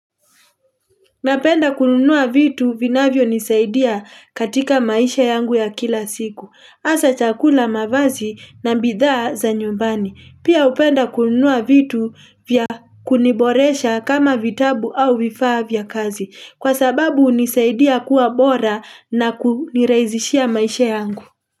Napenda kununua vitu vinavyonisaidia katika maisha yangu ya kila siku. Asa chakula mavazi na mbidha za nyumbani. Pia upenda kununua vitu vya kuniboresha kama vitabu au vifaa vya kazi. Kwa sababu hunisaidia kuwa bora na kuniriazishia maisha yangu.